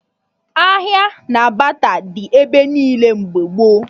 Ahịa na bata dị ebe niile mgbe gboo